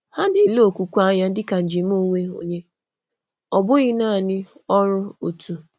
Hà na-ele okwukwe anya dị ka njem onwe onye, ọ bụghị naanị ọrụ òtù.